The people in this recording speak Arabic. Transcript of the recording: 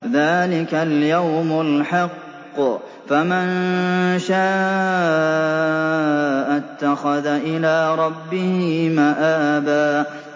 ذَٰلِكَ الْيَوْمُ الْحَقُّ ۖ فَمَن شَاءَ اتَّخَذَ إِلَىٰ رَبِّهِ مَآبًا